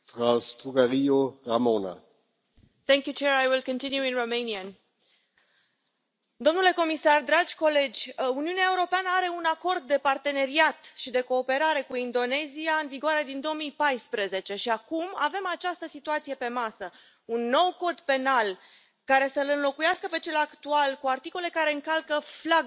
Domnule președinte, Uniunea Europeană are un Acord de parteneriat și de cooperare cu Indonezia în vigoare din 2014 și acum avem această situație pe masă un nou cod penal care să l înlocuiască pe cel actual, cu articole care încalcă flagrant drepturile femeilor, ale minorităților religioase, sexuale, libertatea de exprimare și de asociere.